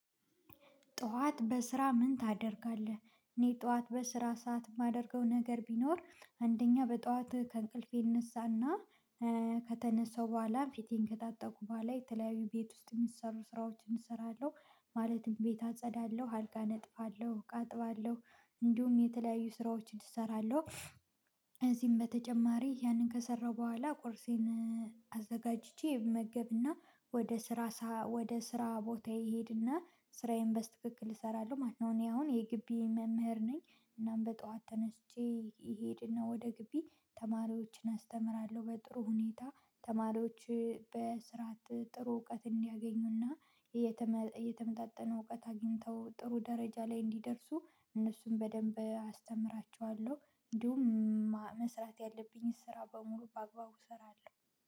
ጠዋት በስራ ምን ታደርጋለህ? እኔ ጠዋት በስራ ሰዓት የማደርገው ነገር ቢኖር አንደኛ በጠዋት ከእንቅልፌ እነሳና ከተነሳው በኋላ ፊቴን ከታጠብኩ በኋላ የተለያዩ ቤት ውስጥ የሚሰሩ ስራዎችን እሰራለሁ። ማለትም ቤት አጸዳለሁ አልጋ አነጥፋለሁ እቃ አጥባለሁ እንዲሁም የተለያዩ ስራዎችን እሰራለሁ። ከዚህም በተጨማሪ ያንን ከሰራሁ በኋላ ቁርሴን አዘጋጅቼ እመገብና ወደ ስራ ወደ ስራ ቦታየ እሄድና ስራዬን በስትክክል እሰራለሁ። ማንኛውንም እኔ አሁን የጊቢ መምህር ነኝ እናም በጠዋት ተነስቼ እሄድና ወደ ጊቢ ተማሪዎችን አስተምራለሁ በጥሩ ሁኔታ። ተማሪዎች በስርዓት ጥሩ እውቀትን እንዲያገኙና። እየተመጣጠነ እውቀት አግኝተው ጥሩ ደረጃ ላይ እንዲደርሱ እነሱን በደንብ አስተምራችኋለሁ። እንዲሁም መስራት ያለብኝን ስራ በሙሉ በአግባቡ እሰራለሁ።